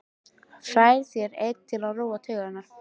Færð þér einn til að róa taugarnar.